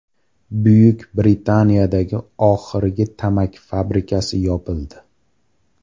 Buyuk Britaniyadagi oxirgi tamaki fabrikasi yopildi.